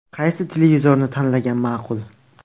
Qaysi televizorni tanlagan ma’qul?.